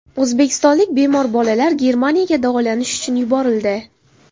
O‘zbekistonlik bemor bolalar Germaniyaga davolanish uchun yuborildi.